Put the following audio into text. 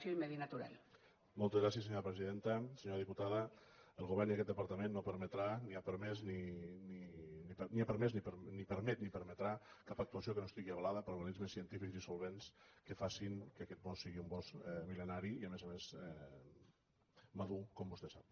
senyora diputada el govern i aquest departament no permetran ni han permès ni permeten ni permetran cap actuació que no estigui avalada per organismes científics i solvents que facin que aquest bosc sigui un bosc mil·lenari i a més a més madur com vostè sap